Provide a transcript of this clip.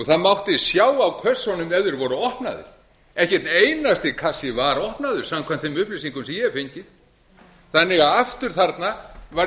það mátti sjá á kössunum ef þeir voru opnaðir ekki einn einasti kassi var opnaður samkvæmt þeim upplýsingum sem ég hef fengið þannig að aftur þarna var